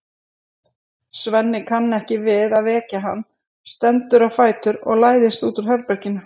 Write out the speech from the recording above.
Svenni kann ekki við að vekja hann, stendur á fætur og læðist út úr herberginu.